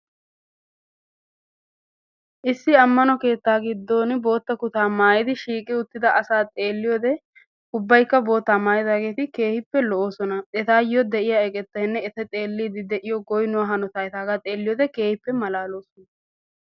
Issi ammano keettaa giiddon bootta kuttaa maayyidi shiiqqi uttidaa asaa xeelliyoode ubbaykka boottaa maayyidaageti keehippe lo'oosona. etayoo de'iyaa eqettaynne etayoo de'iyaa goynnuwaa hanottay etagaa xeelliyoode keehippe malaloosona.